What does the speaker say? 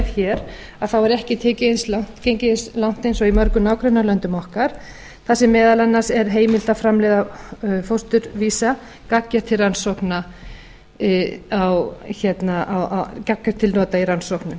hér að þá er ekki gengið eins langt og í mörgum nágrannalöndum okkar þar sem meðal annars er heimilt að framleiða fósturvísa gagngert til nota í